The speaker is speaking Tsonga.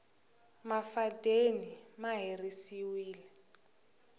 mafadeni ma herisiwile